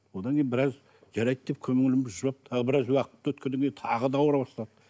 одан кейін біраз жарайды деп көңіліміз жұбап тағы біраз уақыт өткеннен кейін тағы да ауыра бастады